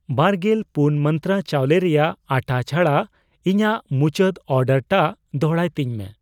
ᱵᱟᱨᱜᱮᱞ ᱯᱩᱱ ᱢᱟᱱᱛᱨᱟ ᱪᱟᱣᱞᱮ ᱨᱮᱭᱟᱜ ᱟᱴᱷᱟ ᱪᱷᱟᱲᱟ ᱤᱧᱟᱜ ᱢᱩᱪᱟᱹᱫ ᱚᱨᱰᱟᱨ ᱴᱟᱜ ᱫᱚᱲᱦᱟᱭ ᱛᱤᱧ ᱢᱮ ᱾